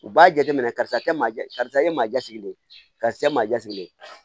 U b'a jateminɛ karisa kɛ ma karisa e ye maajaa sigilen ye karisa e maa ja sigilen